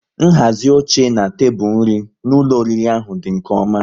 Nhazi oche na tebụl nri n'ụlọ oriri ahụ dị nke ọma